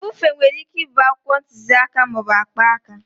Mbufe nwere ike ịbụ akwụkwọ ntuziaka ma ọ bụ akpaaka.